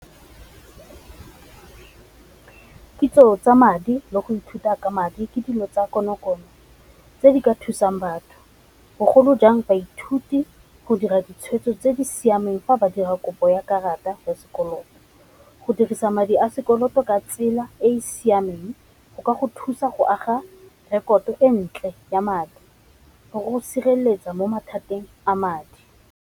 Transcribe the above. Kitso tsa madi le go ithuta ka madi ke dilo tsa konokono tse di ka thusang batho, bogolo jang baithuti go dira ditshweetso tse di siameng fa ba dirang kopo ya karata ya sekoloto, go dirisa madi a sekoloto ka tsela e e siameng go ka go thusa go aga rekoto e ntle ya madi le go sireletsa mo mathateng a madi.